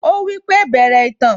Ó wípé 'Bẹ̀rẹ̀ ìtàn'